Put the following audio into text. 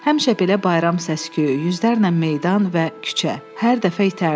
Həmişə belə bayram səsi, yüzlərlə meydan və küçə, hər dəfə itərdim.